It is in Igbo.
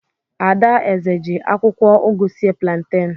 Ada eze ji akwụkwọ ugu sie planten.